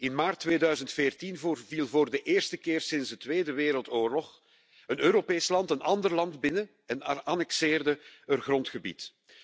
In maart 2014 viel voor de eerste keer sinds de Tweede Wereldoorlog een Europees land een ander land binnen en annexeerde er grondgebied.